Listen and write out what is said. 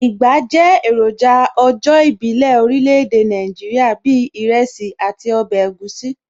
Ìgbá jẹ́ èròjà ọjọ́ ìbílẹ̀ orílẹ̀ èdè Nàìjíríà bíi ìrẹsì àti ọbẹ̀ egusi